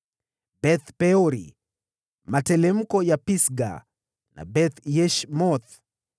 Beth-Peori, materemko ya Pisga na Beth-Yeshimothi: